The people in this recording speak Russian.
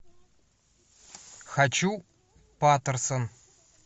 хочу патерсон